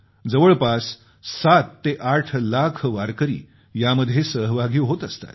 जवळपास 7 ते 8 लाख वारकरी यामध्ये सहभागी होत असतात